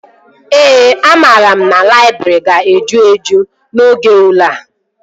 Ee, amara m na laịbrị ga-eju eju oge ule a